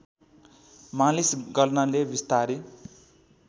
मालिस गर्नाले विस्तारै